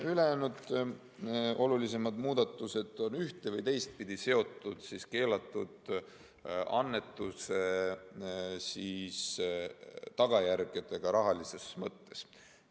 Ülejäänud olulisemad muudatused on ühte‑ või teistpidi seotud keelatud annetuse tagajärgedega rahalises mõttes.